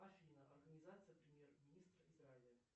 афина организация премьер министра израиля